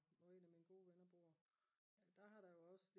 hvor en af mine gode venner bor der har der jo også